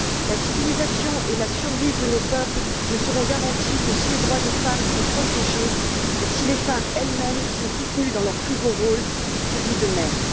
La civilisation et la survie de nos peuples ne seront garanties que si les droits des femmes sont protégés et si les femmes elles mêmes sont soutenues dans leur plus beau rôle, celui de mère.